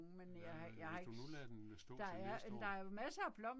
Ja hvis du nu lader den stå til næste år